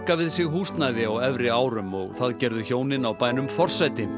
við sig húsnæði á efri árum og það gerðu hjónin á bænum forsæti